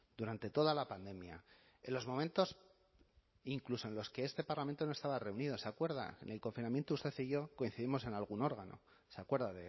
durante toda la pandemia en los momentos incluso en los que este parlamento no estaba reunido se acuerda en el confinamiento usted y yo coincidimos en algún órgano se acuerda